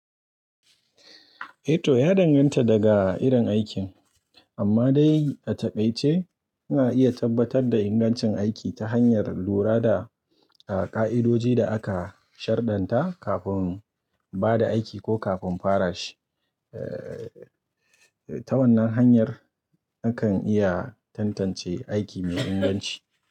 Eto, ya danganta daga irin aikin, amma dai a taƙaice ana iya tabbatar da ingancin aiki ta hanyar lura da ƙa'idoji da aka shadarnta kafin ba da aiki ko kafin fara shi. Eh, ta wannan hanyar akan iya tantance aiki mai inganci.